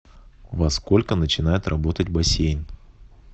во сколько начинает работать бассейн